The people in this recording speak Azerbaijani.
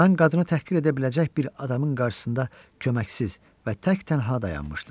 Mən qadına təhqir edə biləcək bir adamın qarşısında köməksiz və təktənha dayanmışdım.